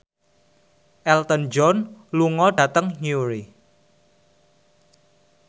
Elton John lunga dhateng Newry